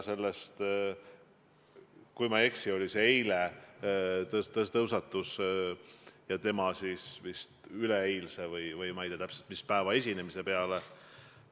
Kui ma ei eksi, siis see teema tõusetus tema eilse või üleeilse – ma ei tea täpselt, mis päeva – esinemise peale.